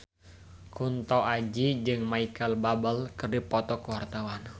Kunto Aji jeung Micheal Bubble keur dipoto ku wartawan